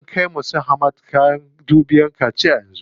An kai wa su Hamad kayan dubiyan kaciya yanzu.